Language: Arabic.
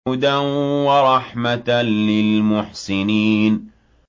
هُدًى وَرَحْمَةً لِّلْمُحْسِنِينَ